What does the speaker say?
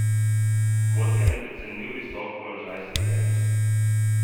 Kot je neprecenljiv visok položaj sedenja.